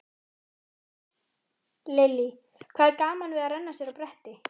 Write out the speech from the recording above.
Lillý: Hvað er gaman við að renna sér á bretti?